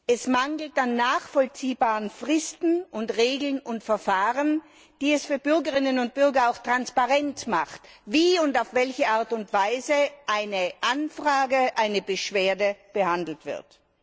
Es mangelt an nachvollziehbaren Fristen, an Regeln und Verfahren, die es für Bürgerinnen und Bürger auch transparent machen, wie und auf welche Art und Weise eine Anfrage, eine Beschwerde behandelt wird.